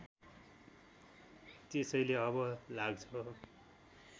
त्यसैले अब लाग्छ